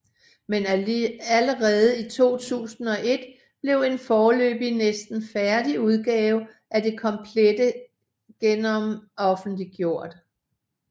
Men allerede i 2001 blev en foreløbig næsten færdig udgave af det komplette genom offentliggjort